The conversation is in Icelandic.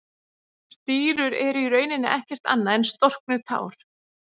Stírur eru í rauninni ekkert annað en storknuð tár.